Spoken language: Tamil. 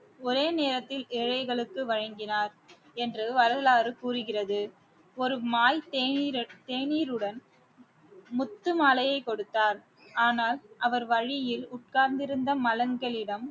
ஒரே நேரத்தில் ஏழைகளுக்கு வழங்கினார் என்று வரலாறு கூறுகிறது ஒரு மால்~ தேநீர் தேநீருடன் முத்து மாலையை கொடுத்தார் ஆனால் அவர் வழியில் உட்கார்ந்திருந்த மலன்களிடம்